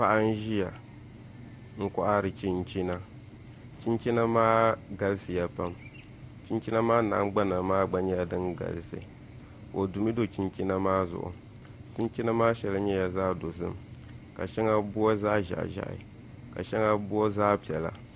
Paɣa n ʒiya n kohari chinchina chinchina maa galisiya pam chinchina maa nahangbana maa gba nyɛla din galisi o dumi do chinchina maa zuɣu chinchina maa shɛli nyɛla zaɣ dozim ka shɛŋa booi zaɣ ʒiɛhi ƶiɛhi ka shɛŋa booi zaɣ piɛla